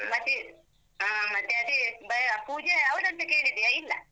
ಮತ್ತೆ. ಆ ಮತ್ತೆ ಅದೆ ಬ ಪೂಜೆ ಯಾವ್ದಂತ ಕೇಳಿದ್ಯಾ? ಇಲ್ಲ.